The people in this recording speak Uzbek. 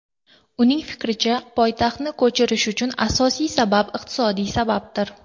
Uning fikricha, poytaxtni ko‘chirish uchun asosiy sabab iqtisodiy sababdir.